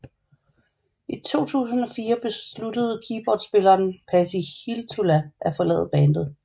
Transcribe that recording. I 2004 besluttede keyboardspiller Pasi Hiltula at forlade bandet